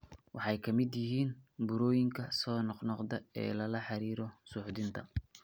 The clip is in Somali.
Waxay ka mid yihiin burooyinka soo noqnoqda ee lala xiriiriyo suuxdinta.